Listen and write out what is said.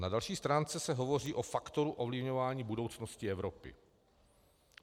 Na další stránce se hovoří o faktoru ovlivňování budoucnosti Evropy.